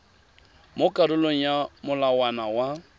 mo karolong ya molawana wa